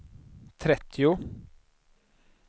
trettio